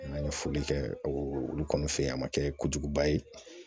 An ye foli kɛ o olu kɔni fɛ yen a ma kɛ kojuguba ye